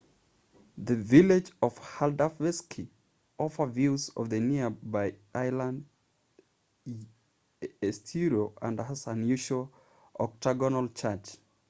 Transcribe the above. the village of haldarsvík offer views of the nearby island eysturoy and has an unusual octagonal church